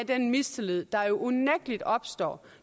den mistillid der jo unægtelig opstår